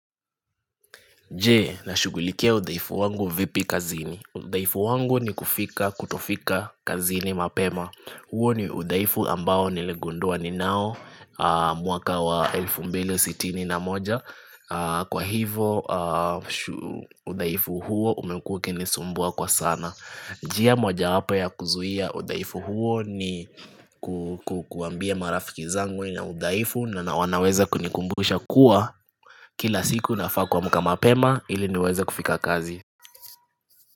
Je nashughulikia udhaifu wangu vipi kazini? Udhaifu wangu ni kufika kutofika kazini mapema huo ni udhaifu ambao niligundua ninao mwaka wa elfu mbili sitini na moja kwa hivyo udhaifu huo umekua ukinisumbua kwa sana njia mojawapo ya kuzuia udhaifu huo ni kukuambia marafiki zangu nina udhaifu na wanaweza kunikumbusha kuwa Kila siku nafaa kuamka mapema ili niweze kufika kazi.